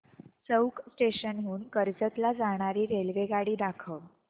चौक station हून कर्जत ला जाणारी रेल्वेगाडी दाखव